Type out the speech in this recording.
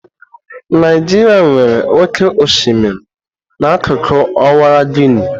Naijiria nwere oke osimiri n'akụkụ Ọwara Guini.